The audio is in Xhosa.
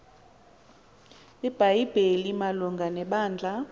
ibhayibhile malunga nebandla